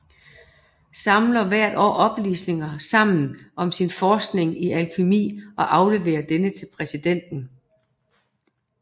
Samler hvert år oplysninger sammen om sin forskning i alkymi og aflevere denne til præsidenten